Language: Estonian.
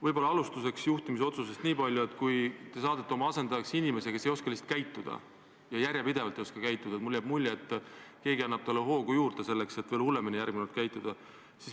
Võib-olla alustuseks juhtimisotsustest nii palju, et kui te saadate oma asendajaks inimese, kes järjepidevalt lihtsalt ei oska käituda, siis mulle jääb mulje, et see annab talle hoogu juurde, et järgmine kord veel hullemini käituda.